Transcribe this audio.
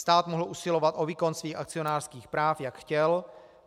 Stát mohl usilovat o výkon svých akcionářských práv, jak chtěl.